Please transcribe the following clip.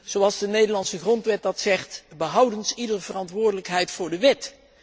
Zoals de Nederlandse grondwet zegt behoudens iedere verantwoordelijkheid voor de wet.